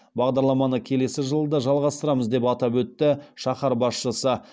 бағдарламаны келесі жылы да жалғастырамыз деп атап өтті шаһар басшысы